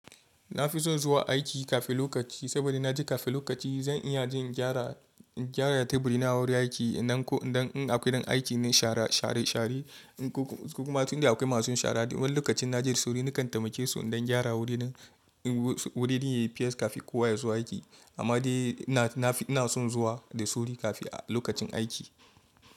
Na fi son zuwa aiki kafin lokaci saboda na ji kafin lokaci zan iya jin gyara, gyara taburina a wurin aiki nan ko in akwai don aiki na share-share, share kuma tun da akwai masu share duk wani lokacin na ji suru na kan taimake su don gyara wurin, wurin yayi fes kafin kowa ya zo aiki amma dai na, na fi, na son zuwa da suru kafin lokacin aiki.